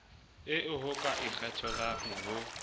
eo ho ka ikgethelwang ho